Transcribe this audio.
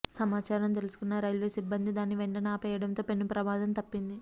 సమాచారం తెలుసుకున్న రైల్వే సిబ్బంది దాన్ని వెంటనే ఆపేయడంతో పెను ప్రమాదం తప్పింది